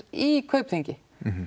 í Kaupþingi